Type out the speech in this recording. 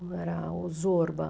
Era Osorba.